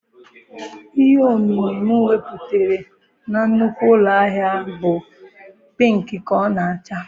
Ihe ọmịmị m nwetara na nnukwu ụlọ ahịa bụ pịịnkị ka ọ na-acha